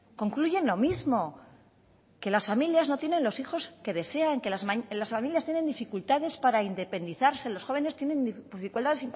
concluyen lo mismo que las familias no tienen los hijos que desean que las familias tienen dificultades para independizarse los jóvenes tienen dificultades para